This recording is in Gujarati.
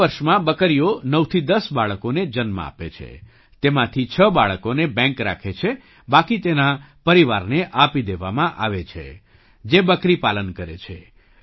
બે વર્ષમાં બકરીઓ ૯થી 1૦ બાળકોને જન્મ આપે છે તેમાંથી છ બાળકોને બૅંક રાખે છે બાકી તેના પરિવારને આપી દેવામાં આવે છે જે બકરી પાલન કરે છે